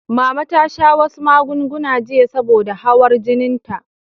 Mama ta sha wasu magunguna jiya saboda hawar jininta.